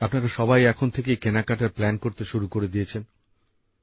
আপনারা সবাই এখন থেকেই কেনাকাটার প্ল্যান করতে শুরু করে দিয়েছেন